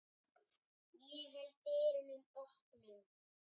Ég held dyrunum opnum.